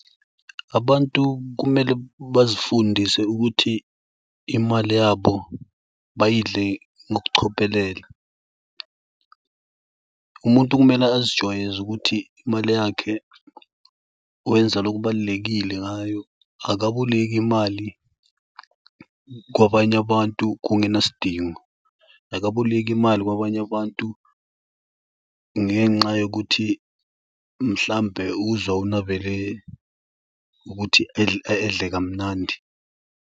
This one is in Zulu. Abantu kumele bazifundise ukuthi imali yabo bayidle ngokucophelela. Umuntu kumele azijwayeze ukuthi imali yakhe wenza lokhu kubalulekile ngayo. Akaboleki imali kwabanye abantu kungenasidingo. Akaboleki imali kwabanye abantu ngenxa yokuthi mhlawumbe uzwa ukuthi edle kamnandi.